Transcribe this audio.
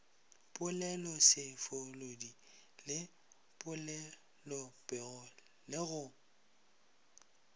poleloseboledi le polelopego le go